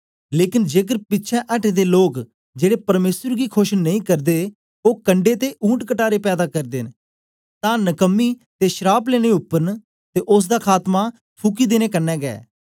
लेकन जेकर पिछें अटे दे लोक जेड़े परमेसर गी खोश नेई करदे ओ कंडै ते ऊंटकटारे पैदा करदे न तां नकमी ते श्राप लेने उपर न ते ओसदा खातमा फुकी देने क्न्ने गै